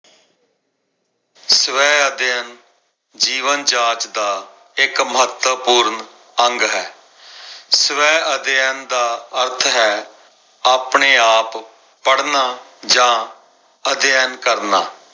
ਸਵੈ ਅਧਿਐਨ ਜੀਵਨ ਜਾਚ ਦਾ ਇਕ ਮਹੱਤਵਪੂਰਨ ਅੰਗ ਹੈ। ਸਵੈ ਅਧਿਐਨ ਦਾ ਅਰਥ ਹੈ ਆਪਣੇ ਆਪ ਪੜਨਾ ਜਾ ਅਧਿਐਨ ਕਰਨਾ।